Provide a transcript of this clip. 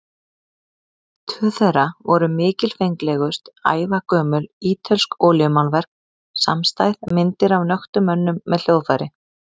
Tvö þeirra voru mikilfenglegust, ævagömul ítölsk olíumálverk samstæð, myndir af nöktum mönnum með hljóðfæri.